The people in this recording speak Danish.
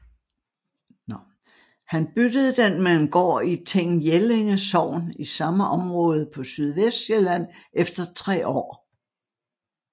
Han byttede den med en gård i Ting Jellinge Sogn i samme område på Sydvestsjælland efter tre år